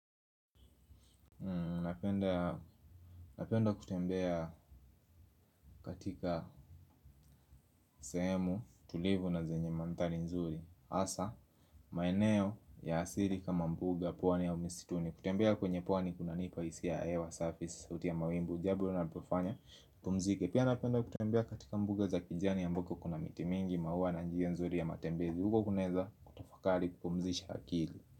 Napenda kutembea katika sehemu, tulivu na zenye mandhari nzuri hasa, maeneo ya asili kama mbuga, pwani au misituni. Kutembea kwenye pwani kunanipa hisia ya hewa, safi, sauti ya mawingu. Jambo linapofanya, pumzike. Pia napenda kutembea katika mbuga za kijani ambako kuna miti mingi, maua na njia nzuri ya matembezi. Huko kunaeza kutafakari kupumzisha akili.